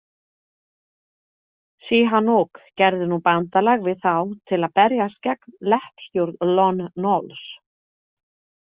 Sihanouk gerði nú bandalag við þá til að berjast gegn leppstjórn Lon Nols.